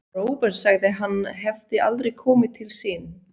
Róbert sagði að hann hefði aldrei komið til sín.